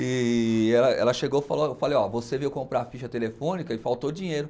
E ela ela chegou e falou, eu falei, ó, você veio comprar a ficha telefônica e faltou dinheiro.